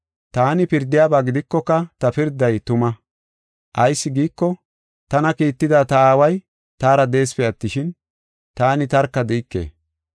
Taani pirdiyaba gidikoka ta pirday tuma. Ayis giiko, tana kiitida ta Aaway taara de7eesipe attishin, taani tarka de7ike.